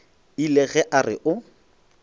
ile ge a re o